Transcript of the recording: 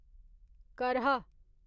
करहा